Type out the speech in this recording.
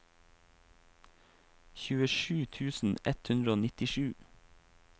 tjuesju tusen ett hundre og nittisju